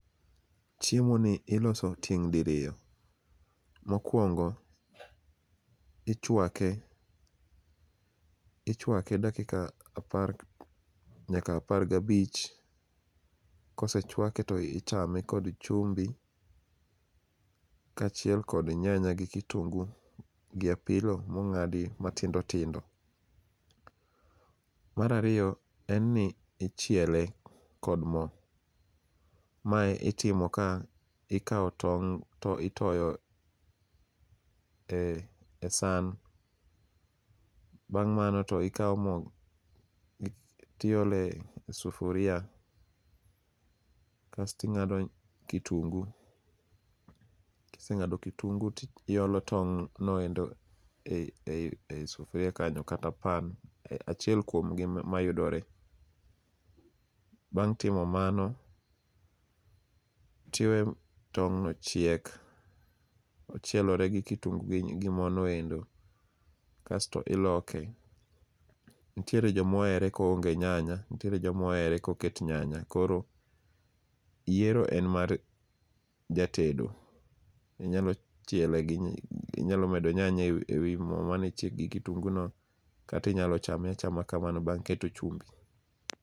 Chiemoni iloso tieng' diriyo. Mokuongo ichuake ichuake dakika apar nyaka apar gabich. Kosechuake to ichame kod chumbi kaachiel kod nyanya gi kitungu gi apilo mong'ad matindo tindo. Mar ariyo en ni ichiele kod mo. Mae itimo ka ikawo tong' to itoyo e san bang' mano to ikawo mo to iole sufuria kasto ing'ado kitungu , kiseng'ado kitungu to iolo tong'no endo ei sufuria kanyo kata pan, achiel kuom gi mayudore. Bang' timo mano to iweyyo tong'no chiek, ochielore gi kitungu gi morno eko kaeto iloke. Nitie joma ohere ka oonge nyanya, nitiere joma ohere koket nyanya koro yiero en mar jatedo. Inyalo medo nyanya ewi mo mane chiek gi kitunguno kata inyalo chame achama kamano bang' keto chumbi.